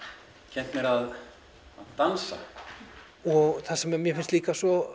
kennt mér að dansa og það sem mér finnst líka svo